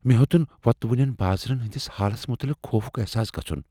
مےٚ ہیوٚتن وۄتلوٕنٮ۪ن بازرن ہٕنٛدِس حالس متعلق خوفک احساس گژھن۔